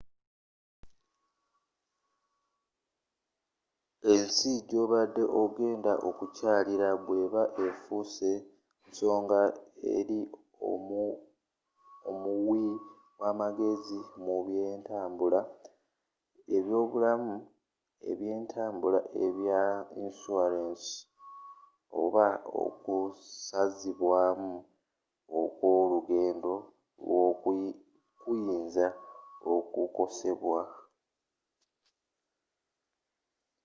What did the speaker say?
ensi joobadde ogenda okukyallira bweba nga efuuse nsonga eri omuwi wa magezi mu bye ntambula ebyobulamu byentambula ebya insurance oba okusazibwamu okw'olugendo lwo kuyinza okukosebwa